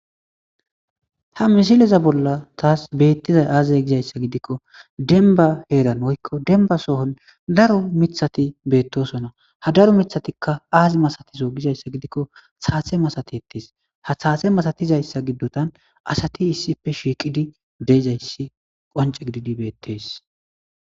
Ha misileza bolla taas beettizay aazay gizayssa gidikko dembba heeran woykko dembba sohon daro mithati beettosona ha daro mithatikka aazi masatiso gizayssa gidikko thaase masatettees. ha thaase masatizayssa giddotan asati issippe shiiqidi deezayssi qonce gididi beettes.